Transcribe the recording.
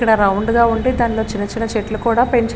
ఇక్కడ రౌండ్ గా ఉండి దానిలో చిన్న చిన్న చెట్లు కూడా పెంచు --